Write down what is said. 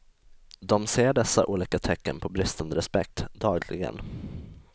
De ser dessa olika tecken på bristande respekt, dagligen.